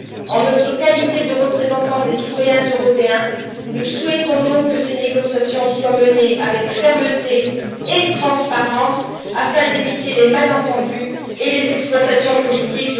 En notre qualité de représentants des citoyens européens, nous souhaitons donc que ces négociations soient menées avec fermeté et transparence afin d'éviter les malentendus et les exploitations politiques.